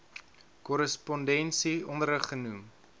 korrespondensie onderrig genoem